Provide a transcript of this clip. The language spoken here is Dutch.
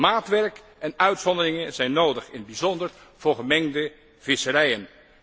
Maatwerk en uitzonderingen zijn nodig, in het bijzonder voor gemengde visserijen.